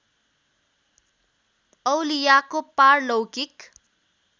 औलियाको पारलौकिक